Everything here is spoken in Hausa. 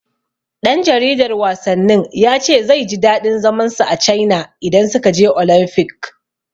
Ɗan jaridar wasannin ya ce zai ji daɗin zaman sa a Caina idan suka je Olamfik.